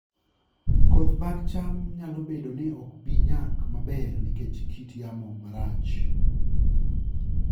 Koth mag cham nyalo bedo ni ok bi nyak maber nikech kit yamo marach